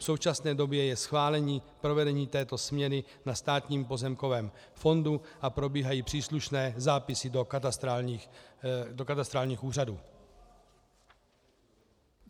V současné době je schválení provedení této směny na Státním pozemkovém fondu a probíhají příslušné zápisy do katastrálních úřadů.